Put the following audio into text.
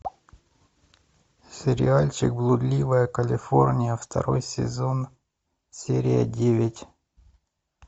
сериальчик блудливая калифорния второй сезон серия девять